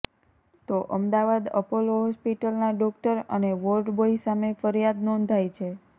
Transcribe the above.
તો અમદાવાદ અપોલો હોસ્પિટલના ડોકટર અને વોર્ડ બોય સામે ફરિયાદ નોંધાઇ છે